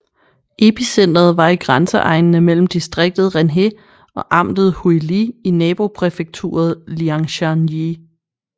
Epicenteret var i grænseegnene mellem distriktet Renhe og amtet Huili i nabopræfekturet Liangshan Yi